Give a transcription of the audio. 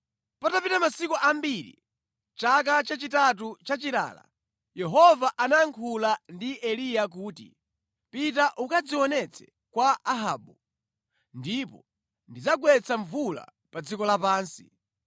Patapita masiku ambiri, mʼchaka chachitatu cha chilala, Yehova anayankhula ndi Eliya kuti, “Pita ukadzionetse kwa Ahabu ndipo ndidzagwetsa mvula pa dziko lapansi.”